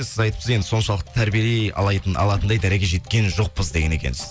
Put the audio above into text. сіз айтыпсыз енді соншалықты тәрбиелей алатындай дәрежеге жеткен жоқпыз деген екенсіз